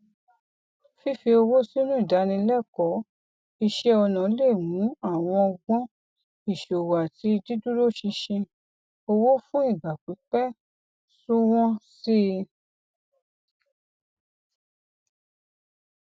fífi owó sínú ìdánilẹkọọ iṣẹọnà lè mú àwọn ọgbọn ìṣòwò àti dídúróṣinṣin owó fún ìgbà pípẹ sunwọn sí i